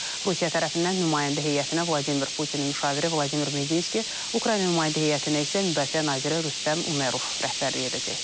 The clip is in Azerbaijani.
Rusiya tərəfindən nümayəndə heyətinə Vladimir Putinin müşaviri Vladimir Medinski, Ukrayna nümayəndə heyətinə isə müdafiə naziri Rüstəm Umerov rəhbərlik edəcək.